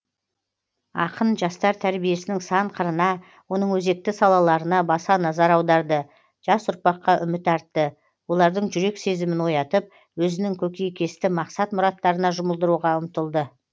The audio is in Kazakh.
ақын жастар тәрбиесінің сан қырына оның өзекті салаларына баса назар аударды жас ұрпаққа үміт артты олардың жүрек сезімін оятып өзінің көкейкесті мақсат мұраттарына жұмылдыруға ұмтылды